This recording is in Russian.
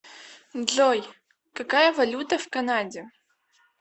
джой какая валюта в канаде